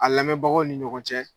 A lamɛnbagaw ni ɲɔgɔn cɛ.